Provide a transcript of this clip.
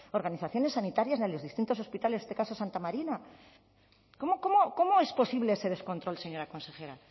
organizaciones sanitarias ni a los distintos hospitales en este caso santa marina cómo es posible ese descontrol señora consejera